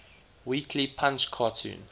weekly punch cartoon